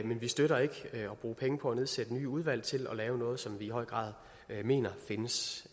men vi støtter ikke at bruge penge på at nedsætte nye udvalg til at lave noget som vi i høj grad mener